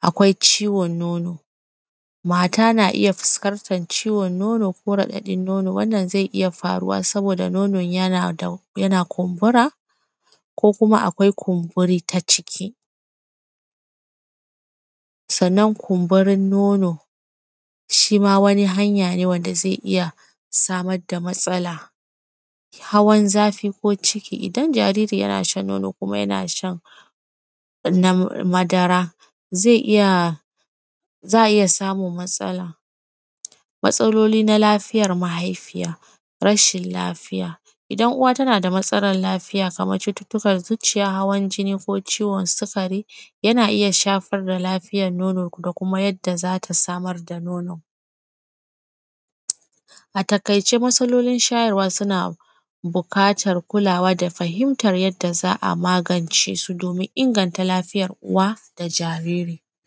akwai ciwon nono, mata na iya fiskantar ciwon nono ko raɗaɗin nono, wannan ze iya faruwa saboda nonon yana da; yana kumbura ko kuma akwai kumburi ta ciki. Sannan, kumburin nono, shi ma wani hanya ne wanda ze iya samad da matsala. Hawan zafi ko ciki, idan jariri yana shan nono kuma yana shan nam; madara, ze iya; za a iya samum matsala. Matsalolin na lafiyar mahaifiya, rashin lafiya, idan uwa tana da matsalar lafiya kamar cututtukan zuciya, hawan jinni ko ciwon sikari, yana iya shafar da lafiyan nono ko kuma yadda za ta samar da nono. A takaice, matsalolin shayarwa suna bukatar kulawa da fahimtar yadda za a magance su domin inganta lafiyar uwa da jariri.